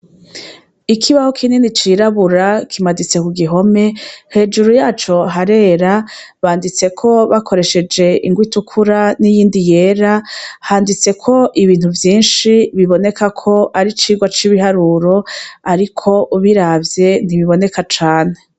Ikibaho kinini cirabura kimaditse kugihome, hejuru yaco harera banditseko bakoresheje ingwa itukura n'iyindi yera, handitseko ibintu vyinshi biboneka ko ari icirwa c'ibiharuro, ariko uburavye ntibiboneka cane.